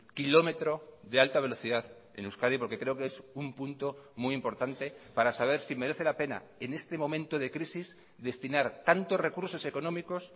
kilómetro de alta velocidad en euskadi porque creo qué es un punto muy importante para saber si merece la pena en este momento de crisis destinar tantos recursos económicos